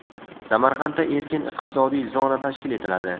Samarqandda erkin iqtisodiy zona tashkil etiladi.